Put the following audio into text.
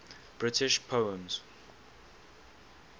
british poems